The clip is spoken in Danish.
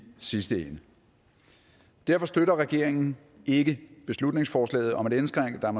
sidste ende derfor støtter regeringen ikke beslutningsforslaget om at indskrænke